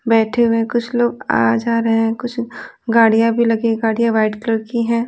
बैठे हुए हैं कुछ लोग आ जा रहे हैं कुछ गाड़ियां भी लगी गाड़ियां वाइट कलर की है।